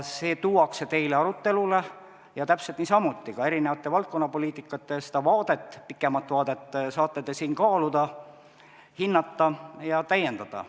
See tuuakse teile arutelule ja täpselt niisamuti saate ka eri valdkonnapoliitikate pikemat vaadet siin kaaluda, hinnata ja täiendada.